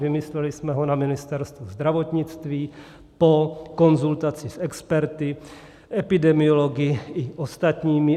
Vymysleli jsme ho na Ministerstvu zdravotnictví po konzultaci s experty, epidemiology i ostatními.